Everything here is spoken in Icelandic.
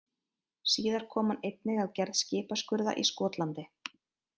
Síðar kom hann einnig að gerð skipaskurða í Skotlandi.